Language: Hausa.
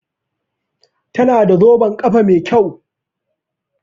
Tana da zoben kafa Mai kyau.